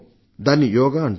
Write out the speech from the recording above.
దాన్ని యోగా అంటారు